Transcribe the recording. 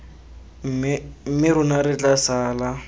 mme rona re tla sala